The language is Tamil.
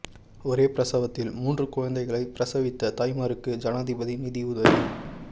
ஒரே பிரசவத்தில் மூன்று குழந்தைகளை பிரசவித்த தாய்மாருக்கு ஜனாதிபதி நிதி உதவி